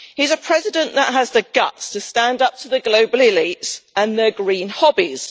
He is a president that has the guts to stand up to the global elites and their green hobbies.